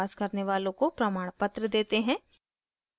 online test pass करने वालों को प्रमाणपत्र देते हैं